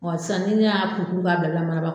Wa sisan ni ne y'a kuru kuru k'a bila bila mana ba